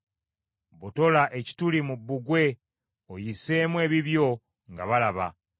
Botola ekituli mu bbugwe oyiseemu ebibyo, nga balaba.